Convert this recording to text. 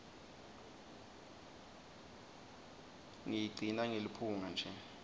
ngiyigcina ngeliphunga nje